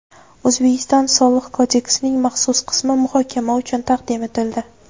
O‘zbekiston Soliq kodeksining maxsus qismi muhokama uchun taqdim etildi.